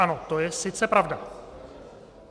Ano, to je sice pravda.